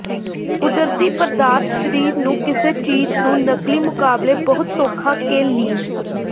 ਕੁਦਰਤੀ ਪਦਾਰਥ ਸਰੀਰ ਨੂੰ ਕਿਸੇ ਚੀਜ਼ ਨੂੰ ਨਕਲੀ ਮੁਕਾਬਲੇ ਬਹੁਤ ਸੌਖਾ ਕੇ ਲੀਨ